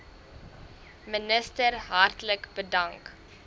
minister hartlik bedank